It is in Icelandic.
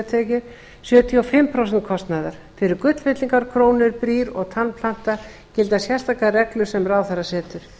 sjötíu og fimm prósent kostnaðar fyrir gullfyllingar krónur brýr og tannplanta gilda sérstakar reglur sem ráðherra setur